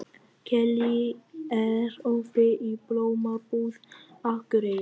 Kellý, er opið í Blómabúð Akureyrar?